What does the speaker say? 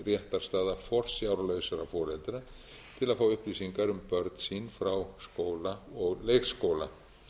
réttarstaða forsjárlausra foreldra til að fá upplýsingar um börn sín frá skóla og leikskóla